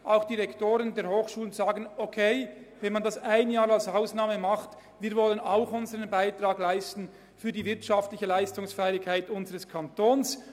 Auch die Rektoren der Hochschulen sagen, es sei in Ordnung, dies während eines Jahres zu tun, denn auch sie wollten ihren Beitrag leisten zur Steigerung der wirtschaftlichen Leistungsfähigkeit des Kantons.